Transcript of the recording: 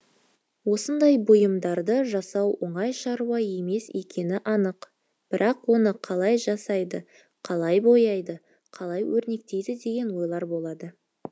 осындай бұйымдарды жасау оңай шаруа емес екені анық бірақ оны қалай жасайды қалай бояйды қалай өрнектейді деген ойлар болды